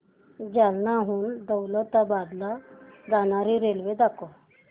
जालन्याहून दौलताबाद ला जाणारी रेल्वे दाखव